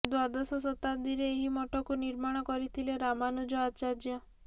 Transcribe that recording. ଦ୍ୱାଦଶ ଶତାବ୍ଦୀରେ ଏହି ମଠକୁ ନିର୍ମାଣ କରିଥିଲେ ରାମାନୁଜ ଆଚାର୍ଯ୍ୟ